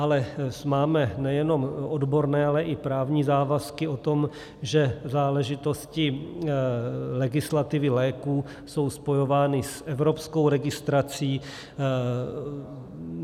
Ale máme nejenom odborné, ale i právní závazky o tom, že záležitosti legislativy léků jsou spojovány s evropskou registrací.